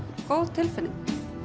góð tilfinning